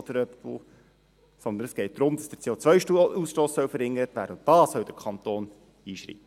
Es geht darum, dass der COAusstross verringert werden soll, und da soll der Kanton einsteigen.